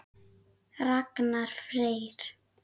Ragnar Freyr.